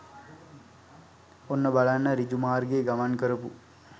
ඔන්න බලන්න ඍජු මාර්ගයේ ගමන් කරපු